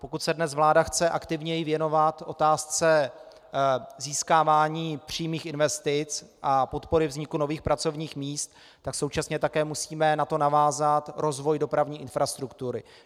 Pokud se dnes vláda chce aktivněji věnovat otázce získávání přímých investic a podpory vzniku nových pracovních míst, tak současně také musíme na to navázat rozvoj dopravní infrastruktury.